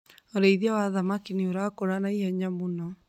Ũrĩithia wa thamaki nĩ ũrakũra na ihenya mũno.